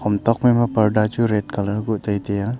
ham tok phai ma parda chu red colour bu tai taiya.